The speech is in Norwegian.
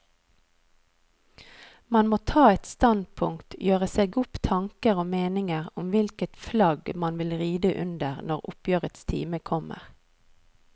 Man må ta et standpunkt, gjøre seg opp tanker og meninger om hvilket flagg man vil ride under når oppgjørets time kommer.